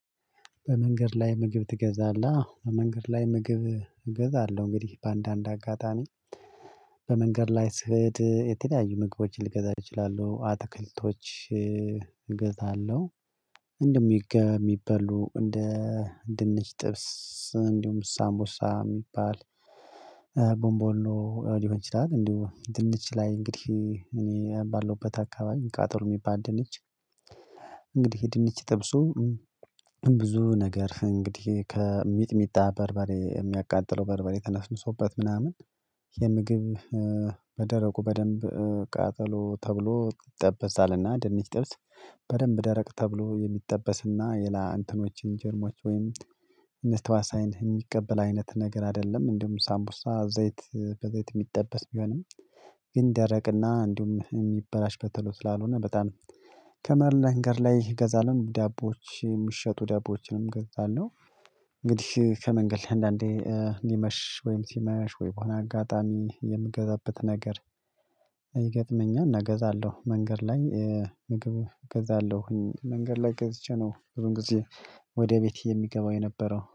በመንገድ ላይ ምግብ ትገዛለህ? አዎ በመንገድ ላይ ምግብ እገዛለሁ እንግዲህ በአንዳንድ አጋጣሚ በመንገድ ላይ ስሄድ የተለያዩ ምግቦችን ልገዛ እችላለሁ አትክልቶች እገዛለሁ እንደሚገ የሚበሉ እንደ ድንች ጥብስ እንዲሁም ሳምቦሳ የሚባል ቦምቦሊኖ ሊሆን ይችላል እንዲሁ ድንች ላይ እንግዲህ እኔ ባለውበት አካባቢ ቃጠሎ የሚባል ድንች እንግዲህ ድንች ጥብሱ ብዙ ነገር እንግዲህ ከሚጥሚጣ በርበሬ የሚያቃጥለው በርበሬ ተነሰንሶበት ምናምን የምግብ በደረቁ በደንብ ቃጠሎ ተብሎ ይጠበሳልና ድንች ጥብስ በደንብ ደረቅ ተብሎ የሚጠበስና የላ እንትኖችን ጀርሞች ወይም ተዋሲያን የሚቀበል አይነት ነገር አይደለም እንዲሁም ሳምቡሳ ዘይት በዘይት የሚጠበስ ቢሆንም እንደረቅና እንዲሁም የሚበላሽ በቶሎ ስላልሆነ በጣም ከመንገድ ላይ ገዛለሁ ዳቦዎች የምሸጡ ዳቦዎችንም ገዛለሁ እንግዲህ ከመንገድላይ አንዳንዴ ሊመሽ ወይም ሲመሽ ወይ በሆነ አጋጣሚ የምገዛበት ነገር ይገጥመኛል እገዛለሁ መንገድ ላይ ምግብ እገዛለሁኝ መንገድ ላይ ገዝቼ ነው ሁል ጊዜ ወደ ቤቴ የሚገባው የነበረው